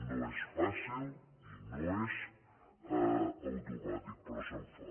no és fàcil i no és automàtic però se’n fa